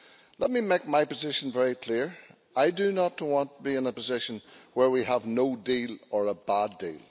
Let me make my position very clear I do not want to be in a position where we have no deal or a bad deal.